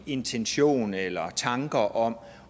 intention eller tanker om